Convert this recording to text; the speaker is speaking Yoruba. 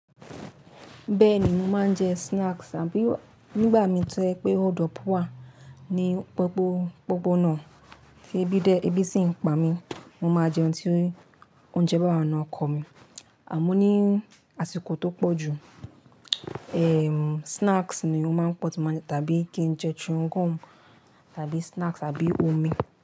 Bẹ́ẹ̀ ni mo máa ń jẹ snacks tàbí nígbà mi to je pé hòld up wà ní popo-- poponà, ti ẹbí dé ẹbí sì ń pa mí, mo máa jẹun tí óuńjẹ bá wa n nu ọkọ mi. Àmọ́ ní àsìkò tó pọ̀ jù, snacks ni o máa ń pọ̀ tí mo tàbí kí n jẹ chewing gum tàbí snacks àbí omi.